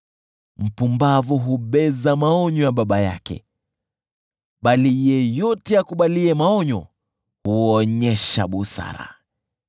Mpumbavu hubeza maonyo ya baba yake, bali yeyote akubaliye maonyo huonyesha busara.